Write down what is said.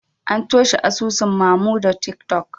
An toshe asusun Mamodu tiktok